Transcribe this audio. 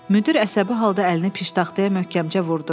Müdir əsəbi halda əlini piştaxtaya möhkəmcə vurdu.